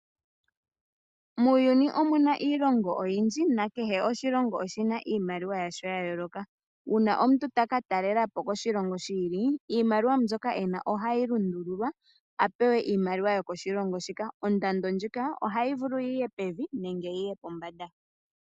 Muuyuni omuna iilongo oyindji nakehe oshilongo oshina iimaliwa yasho ya yooloka. Uuna omuntu ta katalelapo koshilongo shi ili iimaliwa mbyoka ena ohayi lundululwa apewa iimaliwa yokoshilongo shoka . Ondando ndjoka ohayi vulu yiye pevi nenge yiye pombanda.